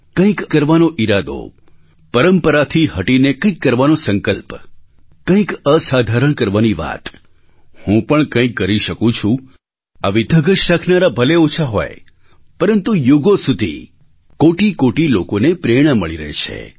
કંઈક કરવાનો ઈરાદો પરંપરાથી હટીને કંઈક કરવાનો સંકલ્પ કંઈક અસાધારણ કરવાની વાત હું પણ કંઈક કરી શકું છું આવી ધગશ રાખનારા ભલે ઓછા હોય પરંતુ યુગો સુધી કોટિકોટિ લોકોને પ્રેરણા મળી રહે છે